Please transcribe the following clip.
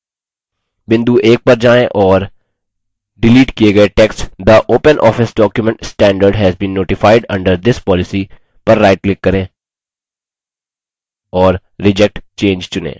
बिंदु 1 पर जाएँ और डिलीट किये गये text the openoffice document standard has been notified under this policy पर राइट क्लिक करें और reject change चुनें